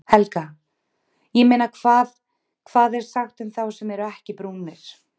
Helga: Ég meina hvað, hvað er sagt um þá sem eru ekkert brúnir?